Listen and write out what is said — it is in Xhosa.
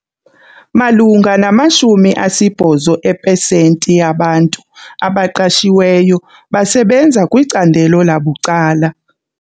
Malunga ne-80 epesenti yabantu abaqashiweyo basebenza kwicandelo labucala.